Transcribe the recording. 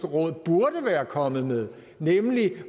råd burde være kommet med nemlig